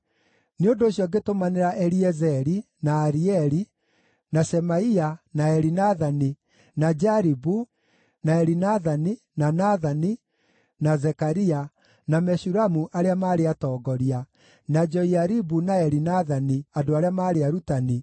Nĩ ũndũ ũcio ngĩtũmanĩra Eliezeri, na Arieli, na Shemaia, na Elinathani, na Jaribu, na Elinathani, na Nathani, na Zekaria, na Meshulamu arĩa maarĩ atongoria, na Joiaribu na Elinathani, andũ arĩa maarĩ arutani,